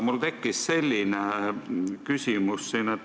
Mul tekkis selline küsimus.